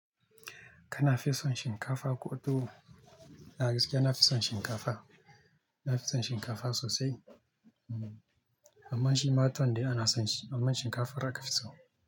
Kana fison shinkafa koɗo. Na gaskiya na fison shinkafa. Na fison shinkafa sosai. Amma shi matuwan dai ana son shi, amman shinkafar aka fi so.